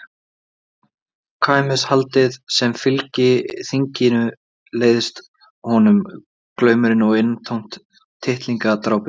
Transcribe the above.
Samkvæmishaldið sem fylgir þinginu leiðist honum, glaumurinn og innantómt tittlingadrápið.